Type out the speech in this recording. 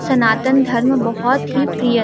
सनातन धर्म बहोत ही प्रिय--